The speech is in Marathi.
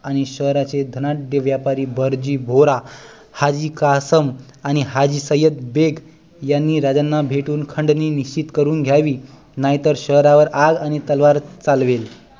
आणि शहरातले धनाढ्य व्यापारी बरजी बोहरा हाजी कासम आणि हाजी सय्यद बेग यांनी राजांना भेटून खंडणी निश्चित करून घ्यावी नाहीतर शहारा वर आग आणि तलवार चालवेल